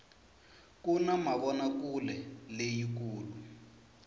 kuna mavonakuleleyi kulu